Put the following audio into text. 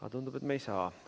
Aga tundub, et me ei saa.